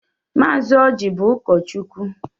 Mazi Ọji bụ ụkọchukwu.